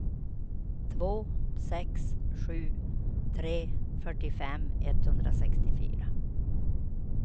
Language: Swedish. två sex sju tre fyrtiofem etthundrasextiofyra